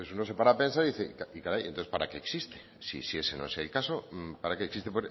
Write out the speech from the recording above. uno se para a pensar y dice caray entonces para qué existe si eso no es el caso para qué existe